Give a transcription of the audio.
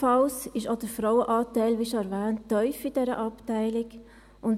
Ebenfalls ist auch der Frauenanteil, wie schon erwähnt, in dieser Abteilung tief.